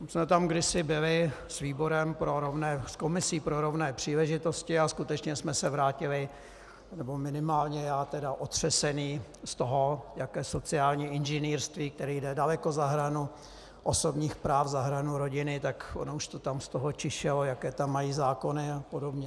My jsme tam kdysi byli s komisí pro rovné příležitosti a skutečně jsme se vrátili, nebo minimálně já tedy, otřeseni z toho, jaké sociální inženýrství, které jde daleko za hranu osobních práv, za hranu rodiny, tak ono už to tam z toho čišelo, jaké tam mají zákony a podobně.